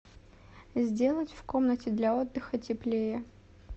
сделать в комнате для отдыха теплее